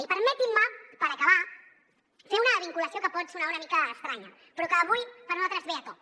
i permetin me per acabar fer una vinculació que pot sonar una mica estranya però que avui per nosaltres ve a tomb